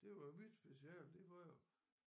Det var mit speciale det var jo